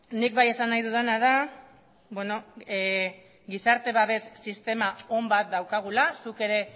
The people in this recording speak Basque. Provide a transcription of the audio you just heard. nik bai esan nahi dudana da gizarte babes sistema on bat daukagula zuk ere